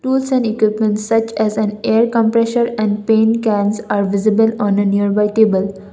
tools and equipments such as an air compressor and paint cans are visible on a nearby table.